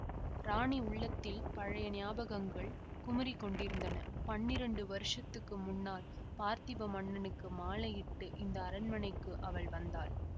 ராணி உள்ளத்தில் பழைய ஞாபகங்கள் குமுறி கொண்டிருந்தன பன்னிரண்டு வருஷத்துக்கு முன்னால் பார்த்திப மன்னனுக்கு மாலையிட்டு இந்த அரண்மனைக்கு அவள் வந்தாள்